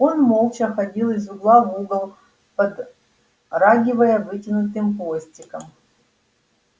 он молча ходил из угла в угол подрагивая вытянутым хвостиком